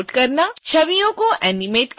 छवियों को एनीमेट करना